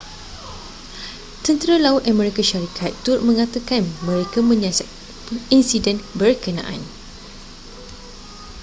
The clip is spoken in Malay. tentera laut amerika syarikat turut menyatakan mereka menyiasat insiden berkenaan